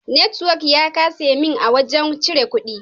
Network ya kasa min a wajen cire kudi.